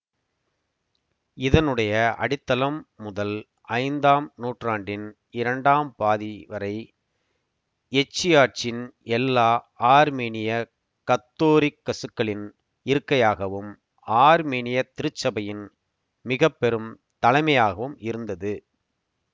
இதனுடைய அடித்தளம் முதல் ஐந்தாம் நூற்றாண்டின் இரண்டாம் பாதி வரை எச்சியாட்சின் எல்லா ஆர்மீனியக் கத்தோரிக்கசுக்களின் இருக்கையாகவும் ஆர்மீனியத் திருச்சபையின் மிக பெரும் தலைமையாகவும் இருந்தது